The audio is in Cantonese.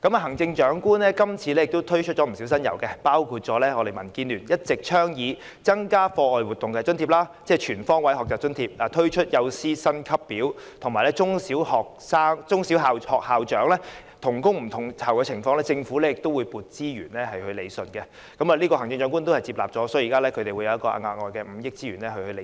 行政長官這次推出不少新猷，包括民建聯一直倡議的增加課外活動津貼，即全方位學習津貼、探討設立幼師薪級表的可行性及中小學校長同工不同酬的情況，政府要批撥資源來理順——這項建議行政長官接納了，政府會撥出額外5億元來理順。